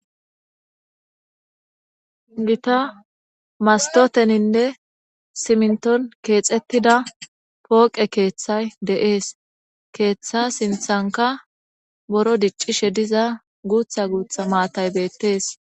gita mastoteninne simnton keexettida pooqe keeththay deees keeththa sinthanka boro diccishe diza guutha guutha maatay beettees